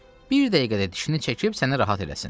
Bir dəqiqədə dişini çəkib səni rahat eləsin.